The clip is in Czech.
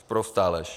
Sprostá lež.